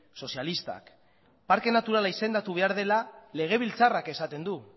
sozialistak parke naturala izendatu behar dela legebiltzarrak esaten du